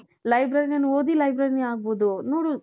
librarian ಓದಿ librarianನೆ ಆಗಬಹುದು ನೋಡು .